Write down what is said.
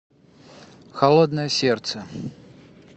холодное сердце